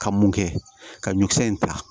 Ka mun kɛ ka ɲɔkisɛ in ta